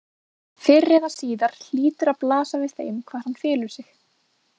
Fyrr eða síðar hlýtur að blasa við þeim hvar hann felur sig.